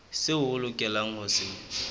seo o lokelang ho se